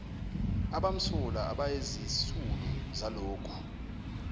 abamsulwa abayizisulu zalokhu